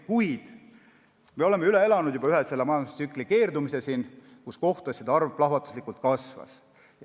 Kuid me oleme juba üle elanud ühe majandustsükli keerdumise, kui kohtuasjade arv plahvatuslikult kasvas.